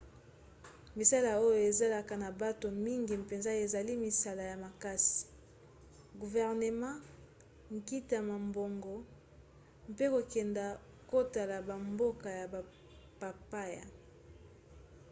misala oyo ezalaka na bato mingi mpenza ezali misala ya makasi guvernema nkita mombongo mpe kokenda kotala bamboka ya bapaya